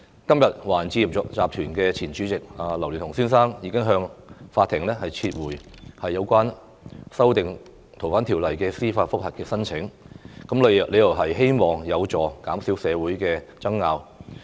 今天，華人置業集團前主席劉鑾雄先生向法庭撤回有關修訂《逃犯條例》的司法覆核申請，理由是希望有助減少社會爭拗。